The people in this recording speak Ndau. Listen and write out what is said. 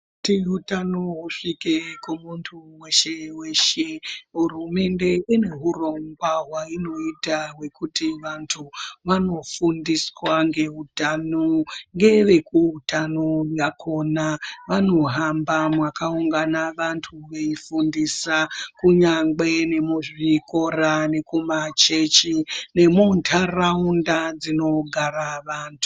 Kuti utano husvike kumunthu weshe weshe hurumende ine hurongwa hweinoita hwekuti vanthu vanofundiswa ngeutano ngevekuutano vakhona vanohamba mwakaungana vanthu kunyangwe nemuzvikora nekumachechi nemuntaraunda dzinogara vanthu.